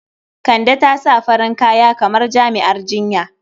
Kande ta sa farin kaya kamar jami'ar jinya.